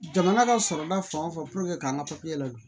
Jamana ka sɔrɔda fan o fan k'an ka ladon